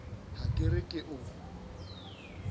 ha ke re ke o